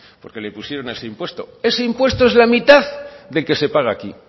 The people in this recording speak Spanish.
porque le pusieron ese impuesto ese impuesto es la mitad del que se paga aquí